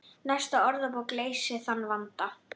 Næsta orðabók leysir þann vanda.